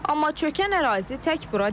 Amma çökən ərazi tək bura deyil.